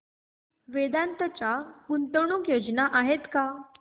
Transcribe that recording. वेदांत च्या गुंतवणूक योजना आहेत का